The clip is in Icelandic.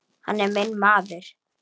Hann er minn maður.